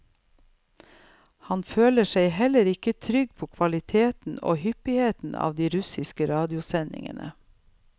Han føler seg heller ikke trygg på kvaliteten og hyppigheten av de russiske radiosendingene.